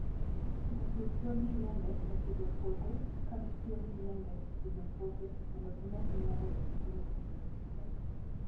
Jopur tiyo gi yiende e pidho puothe, ka gitiyo gi yiende e pidho puothe mondo gimed nyago olembe mopogore opogore.